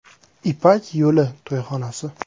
“Ipak yo‘li” to‘yxonasi.